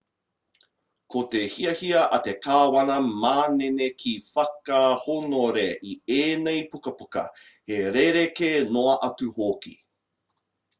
ko te hiahia a te kāwana manene ki whakahōnore i ēnei pukapuka he rerekē noa atu hoki